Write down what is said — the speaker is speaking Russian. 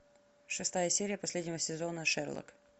шестая серия последнего сезона шерлок